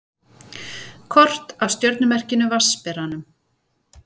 Kort af stjörnumerkinu Vatnsberanum.